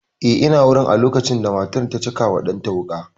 Eh ina wurin a lokacin da matar ta caka wa ɗan ta wuƙa